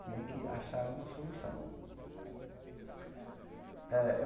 Tinha que achar uma solução. Eh eu